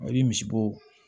I bi misibo